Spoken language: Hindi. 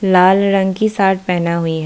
लाल रंग की शर्ट पहना हुई है।